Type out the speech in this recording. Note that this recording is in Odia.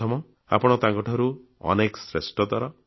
ପ୍ରଥମ ଆପଣ ତାଙ୍କ ଠାରୁ ଅନେକ ଶ୍ରେଷ୍ଠତର